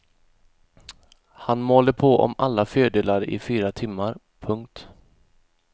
Han malde på om alla fördelar i fyra timmar. punkt